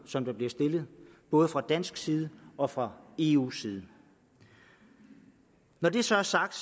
som der bliver stillet både fra dansk side og fra eus side når det så er sagt